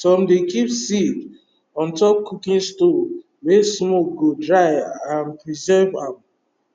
some dey keep seed on top cooking stoves wey smoke go dry and preserve ahm